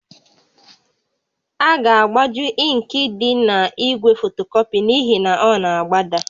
A ga-agbaju ịnkị dị n'igwe fotocopy n'ihi na ọ na-agbada